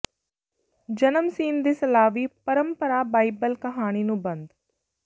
ਜਨਮ ਸੀਨ ਦੇ ਸਲਾਵੀ ਪਰੰਪਰਾ ਬਾਈਬਲ ਕਹਾਣੀ ਨੂੰ ਬੰਦ